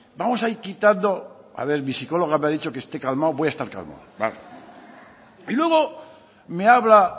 vamos a ir quitando a ver mi psicóloga me ha dicho que esté calmado voy a estar calmado vale y luego me habla